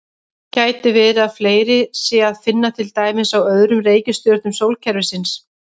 Gæti verið að fleiri sé að finna til dæmis á öðrum reikistjörnum sólkerfisins?